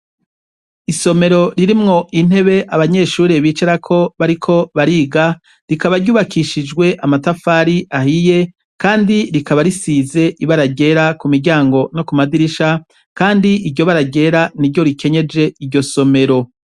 Isomero ririmwo intebe abanyeshure bicarako bariko bariga rikaba ryubakishijwe amatafari ahiye kandi rikaba risize ibara ryera kumiryango no kumadirisha kandi iryo bara ryera niryo rikenyeje iryo somero.